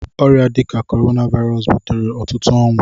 Ọrịa dị ka Corona Virus butere ọtụtụ ọnwụ.